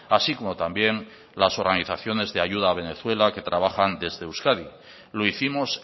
así como también las organizaciones de ayuda a venezuela que trabajan desde euskadi lo hicimos